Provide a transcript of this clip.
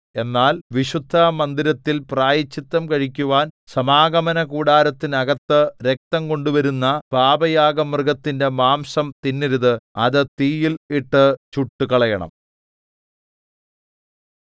എന്നാൽ വിശുദ്ധമന്ദിരത്തിൽ പ്രായശ്ചിത്തം കഴിക്കുവാൻ സമാഗമനകൂടാരത്തിനകത്തു രക്തം കൊണ്ടുവരുന്ന പാപയാഗമൃഗത്തിന്റെ മാംസം തിന്നരുത് അത് തീയിൽ ഇട്ടു ചുട്ടുകളയണം